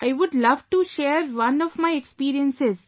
I would love to share one of my experiences